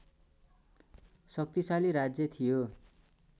शक्तिशाली राज्य थियो